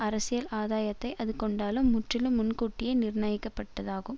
அரசியல் ஆதாயத்தை அது கொண்டாலும் முற்றிலும் முன்கூட்டியே நிர்ணயிக்கப்பட்டது ஆகும்